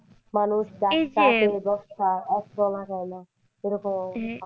মানুষ গাছ কাটে এরকম অবস্থা